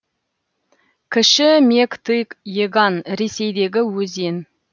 кіші мег тыг еган ресейдегі өзен